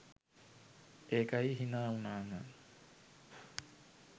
ඒකයි හිනා වුනාම